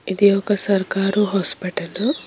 ఇది ఒక సర్కారు హాస్పిటల్ .